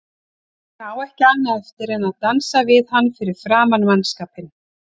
Hún á ekki annað eftir en dansa við hann fyrir framan mannskapinn.